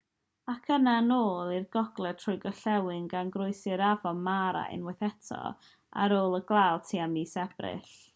ac yna yn ôl i'r gogledd trwy'r gorllewin gan groesi'r afon mara unwaith eto ar ôl y glaw tua mis ebrill